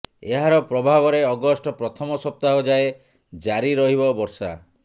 ଏହାର ପ୍ରଭାବରେ ଅଗଷ୍ଟ ପ୍ରଥମ ସପ୍ତାହ ଯାଏ ଜାରି ରହିବ ବର୍ଷା